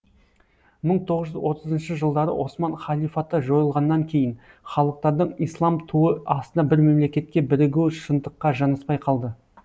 мың тоғыз жүз отызыншы жылдары осман халифаты жойылғаннан кейін халықтардың ислам туы астына бір мемлекетке бірігуі шындыққа жанаспай қалды